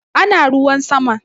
Ana ruwan sama